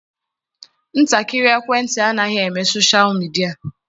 Ntakịrị ekwentị anaghị eme soshal midịa.